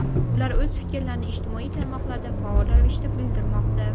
Ular o‘z fikrlarini ijtimoiy tarmoqlarda faol ravishda bildirmoqda.